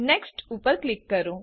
next ઉપર click કરો